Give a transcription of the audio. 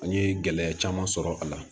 An ye gɛlɛya caman sɔrɔ a la